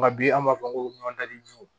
Nka bi an b'a fɔ ko ji